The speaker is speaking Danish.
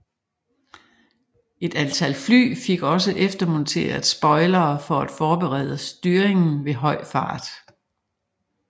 Et antal fly fik også eftermonteret spoilere for at forbedre styringen ved høj fart